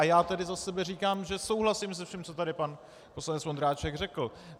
A já tady za sebe říkám, že souhlasím se vším, co tady pan poslanec Vondráček řekl.